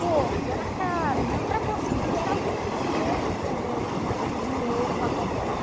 Porco era caro, então para conseguir, era alguém que tinha um outro poder de dinheiro para comprar.